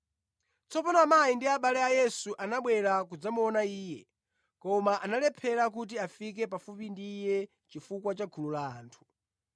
Tsopano amayi ndi abale a Yesu anabwera kudzamuona Iye, koma analephera kuti afike pafupi ndi Iye chifukwa cha gulu la anthu.